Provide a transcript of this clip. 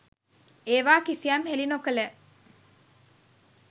ඒවා කිසියම් හෙළි නොකළ